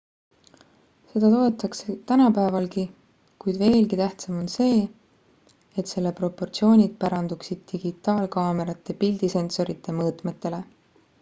seda toodetakse tänapäevalgi kuid veelgi tähtsam on see et selle propotsioonid pärandusid digitaalkaamerate pildisensorite mõõtmetele